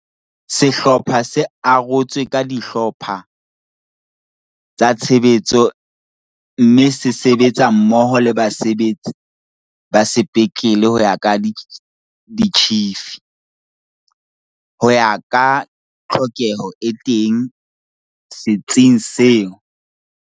Sehlopha se arotswe ka dihlo pha tsa tshebetso mme se sebetsa mmoho le basebetsi ba sepetlele ho ya ka ditjhifi, ho ya ka tlhokeho e teng se tsing seo.